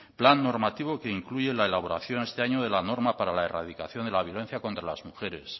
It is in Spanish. plan normativo que incluye la elaboración este año de la norma para la erradicación de la violencia contra las mujeres